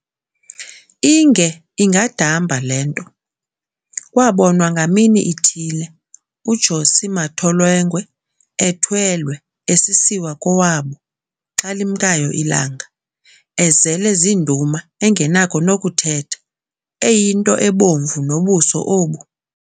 Inge ingadamba le nto, kwabonwa ngamini ithile u"Josi matolengwe" ethwelwe esisiwa kowabo, xa limkayo ilanga, ezele ziinduma engenakho nokuthetha, eyinto ebomvu nobuso obu.